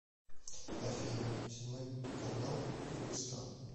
афина седьмой канал кыргызстан